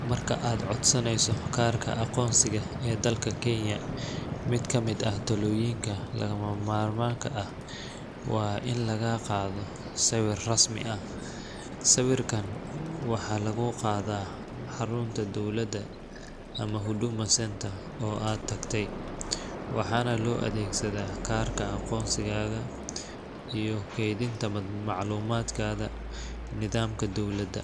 Marka aad codsanayso kaarka aqoonsiga ee dalka Kenya, mid ka mid ah tallaabooyinka lagama maarmaanka ah waa in lagaa qaado sawir rasmi ah. Sawirkan waxaa lagu qaadaa xarunta dowladda ama Huduma Centre oo aad tagtay, waxaana loo adeegsadaa kaarka aqoonsigaaga iyo kaydinta macluumaadkaaga nidaamka dowladda.